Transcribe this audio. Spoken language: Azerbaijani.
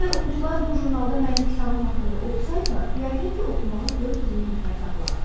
Əgər oxucular bu jurnalda mənim kitabım haqqında oxusaydılar, yəqin ki, oxumağa 400 min nəfər tapılardı.